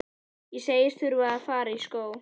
Ég segist þurfa að fara í skó.